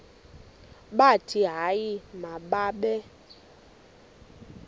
bathi hayi mababe